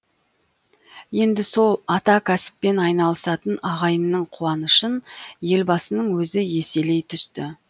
енді сол атакәсіппен айналысатын ағайынның қуанышын елбасының өзі еселей түсті